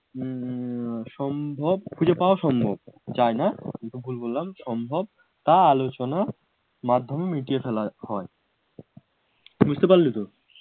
হম হম হম আহ সম্ভব খুঁজে পাওয়া সম্ভব যায় না যদিও ভুল বললাম সম্ভব তা আলোচনা মাধ্যমে মিটিয়ে ফেলা হয় বুঝতে পারলে তো